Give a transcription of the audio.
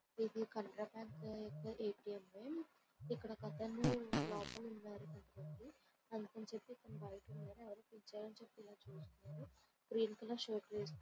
ఇది కూడా ఒక స్థలము ఒక మనిషి నిలబడి ఎవరి కోసమో చూస్తున్నాడు అక్కడ ఒక మనిషి ఉన్నాడు.